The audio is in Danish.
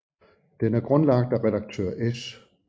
Den er grundlagt af redaktør S